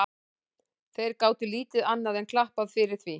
Þeir gátu lítið annað enn klappað fyrir því.